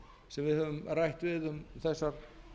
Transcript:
sem við höfum rætt við um þessar